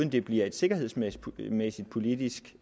det bliver et sikkerhedsmæssigt politisk